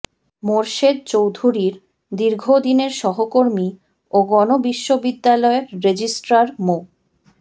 মোরশেদ চৌধুরীর দীর্ঘদিনের সহকর্মী ও গণ বিশ্ববিদ্যালয়ের রেজিস্ট্রার মো